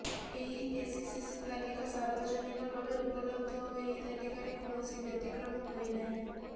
ଏହି ଏସ୍ଇସିସି ତାଲିକା ସାର୍ବଜନୀନ ଭାବେ ଉପଲବ୍ଧ ଓ ଏହି ତାଲିକାରେ କୌଣସି ବ୍ୟତିକ୍ରମ ହୋଇ ନାହିଁ